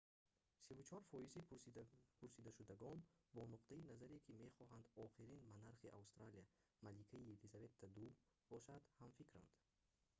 34 фоизи пурсидашудагон бо нуқтаи назаре ки мехоҳанд охирин монархи австралия маликаи елизавета ii бошад ҳамфикранд